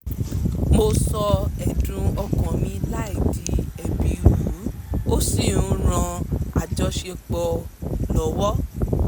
mo sọ ẹ̀dùn ọkàn mi láì di ẹ̀bi rù ú ó sì ń ran àjọṣepọ̀ lọ́wọ́